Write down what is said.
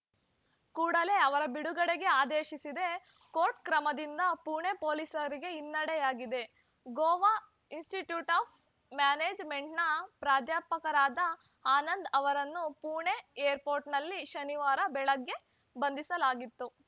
ಕೂಡಲೇ ಅವರ ಬಿಡುಗಡೆಗೆ ಆದೇಶಿಸಿದೆ ಕೋರ್ಟ್‌ ಕ್ರಮದಿಂದ ಪುಣೆ ಪೊಲೀಸರಿಗೆ ಹಿನ್ನಡೆಯಾಗಿದೆ ಗೋವಾ ಇನ್‌ಸ್ಟಿಟ್ಯೂಟ್‌ ಆಫ್‌ ಮ್ಯಾನೇಜ್‌ಮೆಂಟ್‌ನ ಪ್ರಾಧ್ಯಾಪಕರಾದ ಆನಂದ್‌ ಅವರನ್ನು ಪುಣೆ ಏರ್‌ಪೋರ್ಟ್‌ನಲ್ಲಿ ಶನಿವಾರ ಬೆಳಗ್ಗೆ ಬಂಧಿಸಲಾಗಿತ್ತು